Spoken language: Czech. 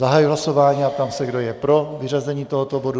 Zahajuji hlasování a ptám se, kdo je pro vyřazení tohoto bodu.